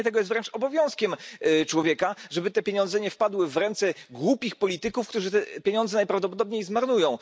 Unikanie tego jest wręcz obowiązkiem człowieka, tak aby te pieniądze nie wpadły w ręce głupich polityków, którzy je najprawdopodobniej zmarnują.